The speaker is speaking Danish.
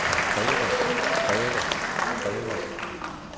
kræver kræver kræver